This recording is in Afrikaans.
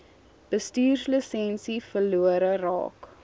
bestuurslisensie verlore raak